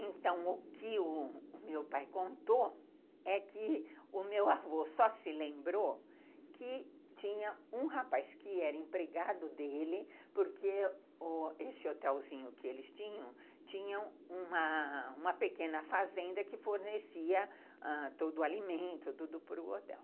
Então, o que o meu pai contou é que o meu avô só se lembrou que tinha um rapaz que era empregado dele, porque esse hotelzinho que eles tinham, tinha uma pequena fazenda que fornecia ãh todo o alimento, tudo para o hotel.